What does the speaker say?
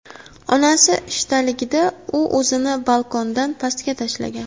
Onasi ishdaligida, u o‘zini balkondan pastga tashlagan.